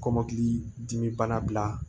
Kɔmɔkili dimi bana bila